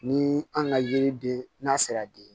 Ni an ka yiriden n'a sera di